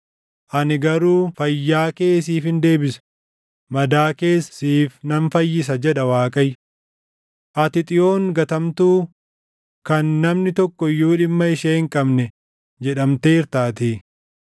Ani garuu fayyaa kee siifin deebisa; madaa kees siif nan fayyisa’ jedha Waaqayyo. ‘Ati Xiyoon gatamtuu kan namni tokko iyyuu dhimma ishee hin qabne jedhamteertaatii.’